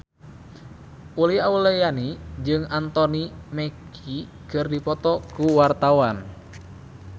Uli Auliani jeung Anthony Mackie keur dipoto ku wartawan